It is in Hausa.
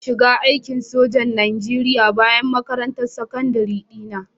Ina shiga aikin sojan Najeriya bayan makarantar sakandare dina